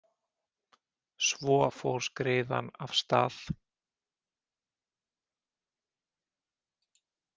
Svo fór skriðan af stað.